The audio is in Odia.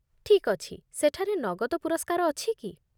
ଠିକ୍ ଅଛି, ସେଠାରେ ନଗଦ ପୁରସ୍କାର ଅଛି କି?